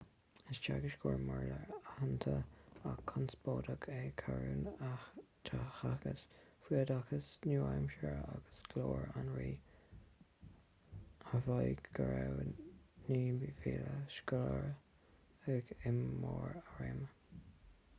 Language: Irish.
is teagascóir béarla aitheanta ach conspóideach é karno a theagasc faoi oideachas nua-aimseartha agus glór an rí a mhaígh go raibh 9,000 scoláire aige i mbarr a réime